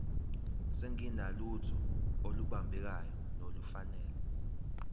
singenalutho olubambekayo nolufanele